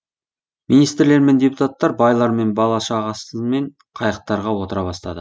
министрлер мен депутаттар байлар бала шағасымен қайықтарға отыра бастады